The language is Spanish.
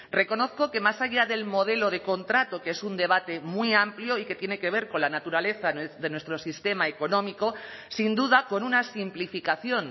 reconozco que más allá del modelo de contrato que es un debate muy amplio y que tiene que ver con la naturaleza de nuestro sistema económico sin duda con una simplificación